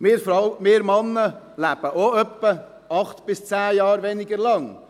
Wir Männer leben auch ungefähr 8–10 Jahre weniger lang.